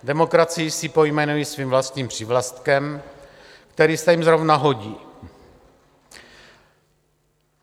Demokracii si pojmenují svým vlastním přívlastkem, který se jim zrovna hodí.